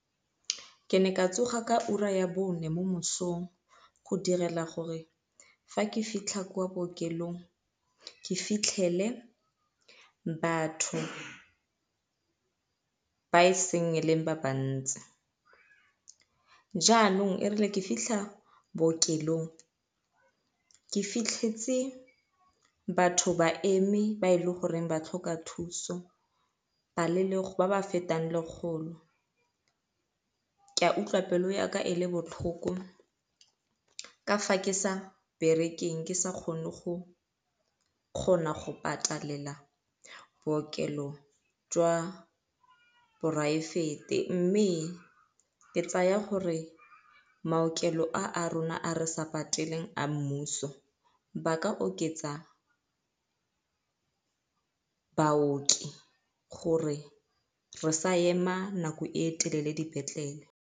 Ke ne ka tsoga ka ura ya bone mo mosong go direla gore fa ke fitlha kwa bookelong ke fitlhele batho ba e se e leng ba bantsi. Jaanong e rile ke fitlha bookelong ke fitlhetse batho ba eme ba e leng gore ba tlhoka thuso ba le ba ba fetang lekgolo. Ke a utlwa pelo ya ka e le botlhoko ka fa ke sa berekeng ke sa kgone go kgona go patalela bookelo jwa poraefete mme ke tsaya gore maokelo a rona a re sa pateleng a mmuso ba ka oketsa baoki gore re sa ema nako e telele dipetlele.